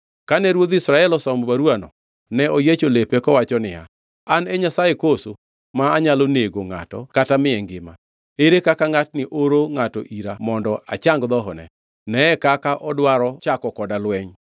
Kane ruodh Israel osomo baruwano, ne oyiecho lepe kowacho niya, “An e Nyasaye koso, ma anyalo nego ngʼato kata miye ngima? Ere kaka ngʼatni oro ngʼato ira mondo achang dhohone. Neye kaka odwaro chako koda lweny!”